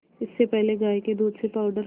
इससे पहले गाय के दूध से पावडर